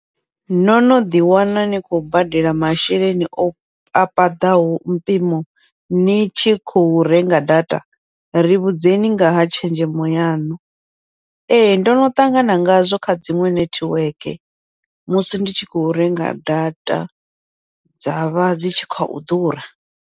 No no ḓi wana ni khou badela masheleni o a paḓaho mpimo ni tshi khou renga data ri vhudzekani ngaha tshenzhemo yaṋu, ee ndono ṱangana ngazwo kha dziṅwe nethiweke musi ndi tshi khou renga data, dzavha dzi tshi khou ḓura.